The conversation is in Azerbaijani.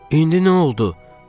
İndi nə oldu?